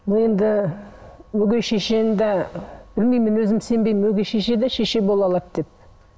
мен де өгей шешені де білмеймін енді өзім сенбеймін өгей шеше де шеше бола алады деп